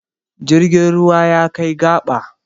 Jirgin ruwa ya kai gaba.